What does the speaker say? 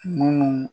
Munnu